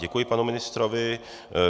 Děkuji panu ministrovi.